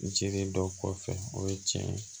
N jigi dɔ kɔfɛ o ye tiɲɛ ye